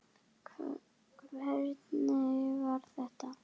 Hvernig var þetta?